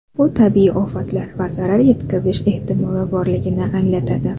Bu tabiiy ofatlar va zarar yetkazish ehtimoli borligini anglatadi.